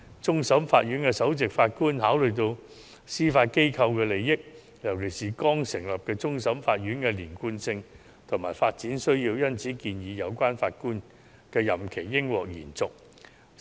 終審法院首席法官考慮到司法機構的利益，尤其是剛成立的終審法院的連貫性及發展需要，因而建議有關法官的任期應獲得延續。